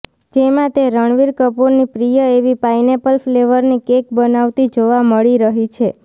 જેમાં તે રણબીર કપૂરની પ્રિય એવી પાઈનેપલ ફ્લેવરની કેક બનાવતી જોવા મળી રહી છે